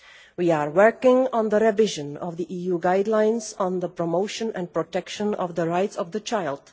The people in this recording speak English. We are working on the revision of the EU guidelines on the promotion and protection of the rights of the child.